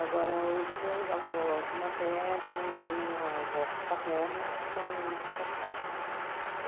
Agora, os meus avós maternos e a minha avó paterna são de São Paulo.